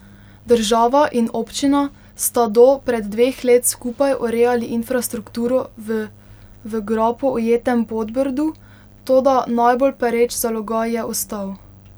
Država in občina sta do pred dveh let skupaj urejali infrastrukturo v v grapo ujetem Podbrdu, toda najbolj pereč zalogaj je ostal.